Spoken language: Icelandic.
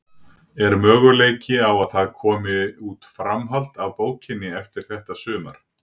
Er möguleiki á að það komi út framhald af bókinni eftir þetta sumar?